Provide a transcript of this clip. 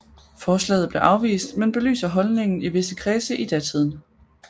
Forslaget blev afvist men belyser holdningen i visse kredse i datiden